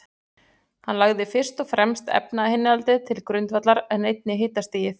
Hann lagði fyrst og fremst efnainnihaldið til grundvallar, en einnig hitastigið.